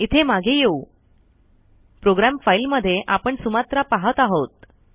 इथे मागे येऊ प्रोग्राम फ़ाईल मध्ये आपण सुमात्रा पाहत आहोत